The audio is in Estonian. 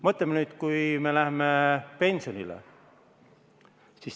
Mõtleme nüüd sellele, kui me läheme pensionile.